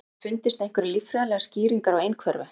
Hafa fundist einhverjar líffræðilegar skýringar á einhverfu?